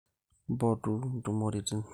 Mpotu intumorritin